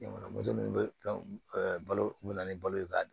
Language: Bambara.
Jamana minnu bɛ balo kun bɛ na ni balo ye k'a dun